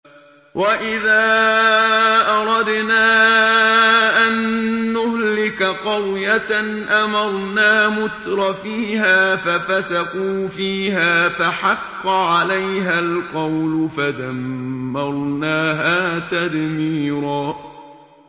وَإِذَا أَرَدْنَا أَن نُّهْلِكَ قَرْيَةً أَمَرْنَا مُتْرَفِيهَا فَفَسَقُوا فِيهَا فَحَقَّ عَلَيْهَا الْقَوْلُ فَدَمَّرْنَاهَا تَدْمِيرًا